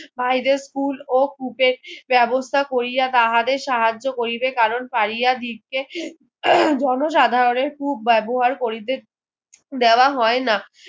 ভাইদের কুল ও কূপে বেবস্থা কোরিয়া তাহাদের সাহায্য করিবে কারণ পারিয়া দিচ্ছে আহ জন সাধারণের কূপ ব্যবহার করিতে দেওয়া হয়না